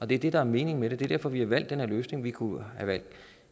det er det der er meningen med det det er derfor vi har valgt den her løsning vi kunne have valgt